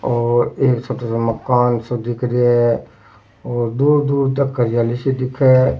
ओर एक सफेद मकान सो दिख रेहो है और दूर दूर तक हरियाली सी दिखे है।